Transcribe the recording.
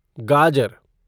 गाजर